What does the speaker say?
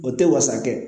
O tɛ wasa kɛ